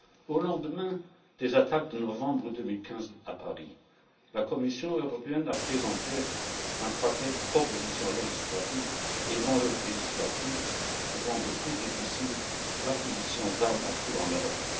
Au lendemain des attentats de novembre 2015, à Paris, la Commission européenne a présenté un paquet de propositions législatives et non législatives pour rendre plus difficile l'acquisition d'armes à feu en Europe.